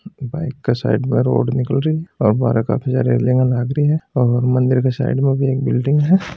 बाइक के साइड में एक रोड निकाल रही है बारे काफी सारी रेलिंग लागरी है और मंदिर के साइड में भी एक बिल्डिंग है।